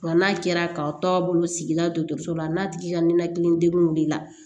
Wa n'a kɛra ka taa bolo sigi la dɔgɔtɔrɔso la n'a tigi ka ninakili degun b'i la